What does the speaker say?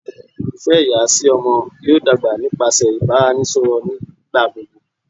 ifẹ iya si ọmọ yoo dagba nipasẹ ibaraẹnisọrọ nigbagbogbo